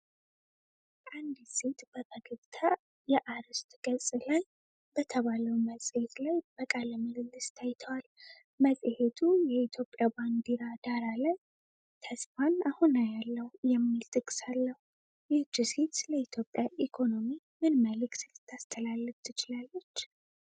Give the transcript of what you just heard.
አንዲት ሴት በፈገግታ የአርዕስት ገጽ ላይ "Ethiopian Business Review" በተባለው መጽሔት ላይ በቃለ-ምልልስ ታይተዋል። መጽሔቱ የኢትዮጵያ ባንዲራ ዳራ ላይ "ተስፋን አሁን አያለሁ" የሚል ጥቅስ አለው። ይህች ሴት ስለ ኢትዮጵያ ኢኮኖሚ ምን መልዕክት ልታስተላልፍ ትችላለች?